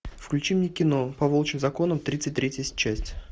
включи мне кино по волчьим законам тридцать третья часть